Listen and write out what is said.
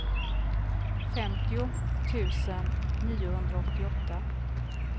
femtio tusen niohundraåttioåtta